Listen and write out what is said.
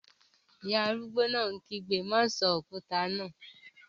Ìyá arúgbó náà kígbe, "má sọ òkúta náà!"